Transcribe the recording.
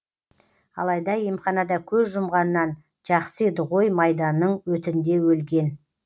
алайда емханада көз жұмғаннан жақсы еді ғой майданның өтінде өлген